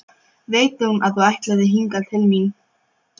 Veit hún að þú ætlaðir hingað til mín?